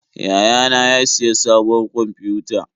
Yayana ya siya sabuwar kwamfiyuta.